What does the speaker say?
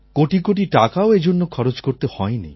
কোটি কোটি টাকাও এজন্য খরচ করতে হয়নি